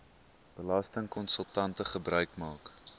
belastingkonsultante gebruik maak